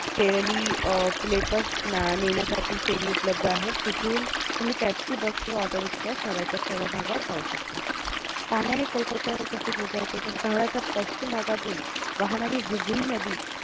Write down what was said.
नेण्यासाठी ferry उपलब्ध आहेत तिथून तुम्ही taxi bus किंवा auto rickshaw शहराच्या सर्व भागात जाऊ शकता पाण्याने कोलकात्तावर कशे पोहचायचे तर शहराच्या पश्चिम भागातुन वाहणारी हुगळी नदी